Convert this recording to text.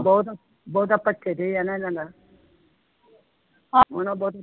ਬਹੁਤ ਬਹੁਤਾ ਭੱਠੇ ਤੇ ਹੈ ਨਾ ਜਾਂਦਾ ਹਨਾ ਬਹੁਤ